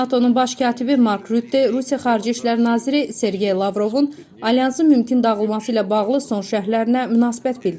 NATO-nun baş katibi Mark Rutte Rusiya Xarici İşlər Naziri Sergey Lavrovun Alyansın mümkün dağılması ilə bağlı son şərhlərinə münasibət bildirib.